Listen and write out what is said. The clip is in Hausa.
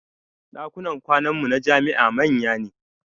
Ɗakunan kwanan mu na jami'a manya ne